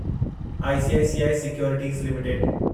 ICICI securities limited